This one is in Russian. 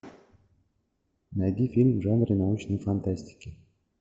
найди фильм в жанре научной фантастики